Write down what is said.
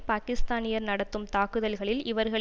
பாக்கிஸ்தானியர் நடத்தும் தாக்குதல்களில் இவர்கள்